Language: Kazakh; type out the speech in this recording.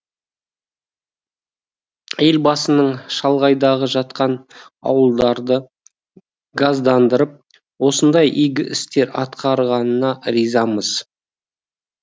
елбасының шалғайда жатқан ауылдарды газдандырып осындай игі істер атқарғанына ризамыз